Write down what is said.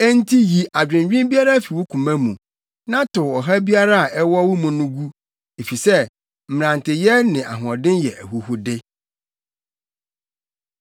Enti yi adwennwen biara fi wo koma mu na tow ɔhaw biara a ɛwɔ wo mu no gu, efisɛ mmeranteyɛ ne ahoɔden yɛ ahuhude.